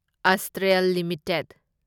Astral limited